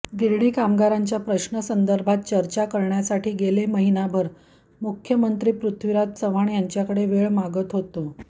गिरणी कामगारांच्या प्रश्नांसंदर्भात चर्चा करण्यासाठी गेले महिनाभर मुख्यमंत्री पृथ्वीराज चव्हाण यांच्याकडे वेळ मागत होतो